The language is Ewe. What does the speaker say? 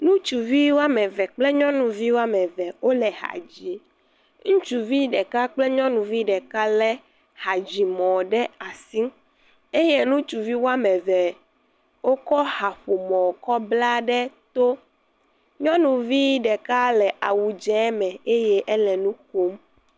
Ŋutsuvi wɔme eve kple nyɔnuvi wɔme eve wo le ha dzim. Ŋutsuvi ɖeka kple nyɔnuvi ɖeka le hadzimɔ ɖe asi eye ŋutsuvi wɔme eve wokɔ haƒomɔ kɔ bla ɖe to. Nyɔnuvi ɖeka le awu dze me eye ele nu ƒom.